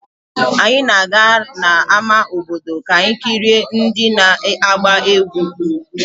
Anyị na-aga n'ama obodo ka anyị kirie ndị na-agba egwu.